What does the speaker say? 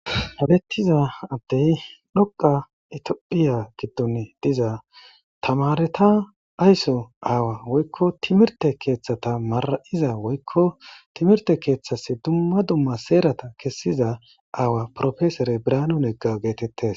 Ha beeththiza addee ikka ithoophphiya giddoni diza thamaaretha ayso aawa woykko thimirththe keeththatha marra7ida woykko thimirththe keeththasi dumma dumma heeratha kessiza aawa profesere birhanu naga geetheththees.